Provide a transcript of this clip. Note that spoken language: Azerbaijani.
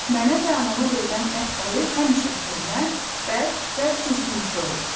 Mənə və anama verilən ət payı həmişə köhnə, bərk və sümüksü olur.